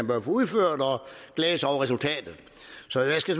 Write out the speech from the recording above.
var udført og glæde sig over resultatet så jeg skal